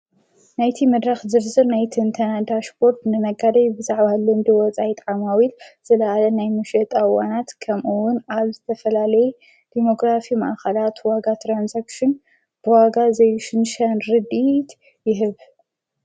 ናይቲ መድራኽ ዝርዝር ናይቲ እንተናዳ ሽጶርት ንመጋደይ ብዛዕዋሃልንዲ ወጻይ ጠዓማዊል ዘለዓለ ናይ ምሸየጠ ኣዋናት ከምኦውን ኣብ ዝተፈላሌየ ዲሞግራፊ መኣኻላት ዋጋ ተራንሳክሽን ብዋጋ ዘይሽንሻን ርድት ይህብ።